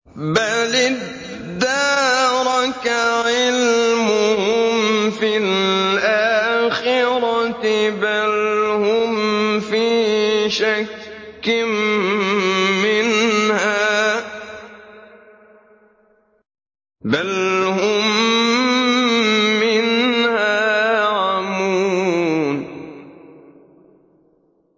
بَلِ ادَّارَكَ عِلْمُهُمْ فِي الْآخِرَةِ ۚ بَلْ هُمْ فِي شَكٍّ مِّنْهَا ۖ بَلْ هُم مِّنْهَا عَمُونَ